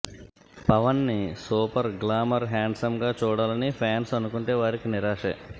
పవన్ ని super glamour handsome గా చూడాలని ఫ్యాన్స్ అనుకుంటే వారికి నిరాశే